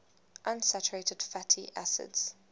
unsaturated fatty acids